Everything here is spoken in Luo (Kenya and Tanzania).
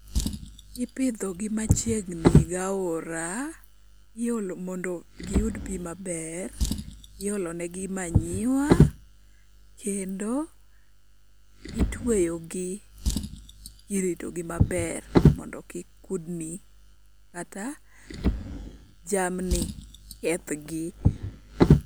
Ipidho gi machiegni gi aora mondo giyud pii maber, iolo negi manure kendo itweyo gi kirito gi maber mondo kik kudni kata jamni kethgi